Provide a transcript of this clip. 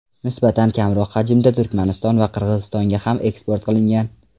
Nisbatan kamroq hajmda Turkmaniston va Qirg‘izistonga ham eksport qilingan.